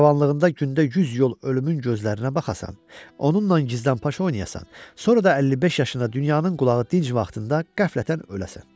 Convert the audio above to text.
Cavanlığında gündə yüz yol ölümün gözlərinə baxasan, onunla gizlənpaç oynayasan, sonra da 55 yaşında dünyanın qulağı dinc vaxtında qəflətən öləsən.